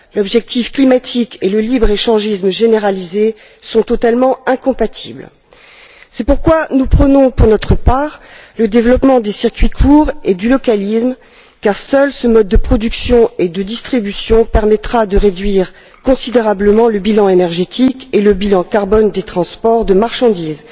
L'objectif climatique et le libre échangisme généralisé sont totalement incompatibles. C'est pourquoi nous prônons, pour notre part, le développement des circuits courts et du localisme, car seul ce mode de production et de distribution permettra de réduire considérablement le bilan énergétique et le bilan carbone des transports de marchandises.